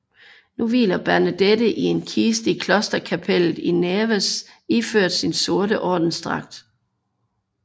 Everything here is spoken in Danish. Nu hviler Bernadette i en kiste i klosterkapellet i Nevers iført sin sorte ordensdragt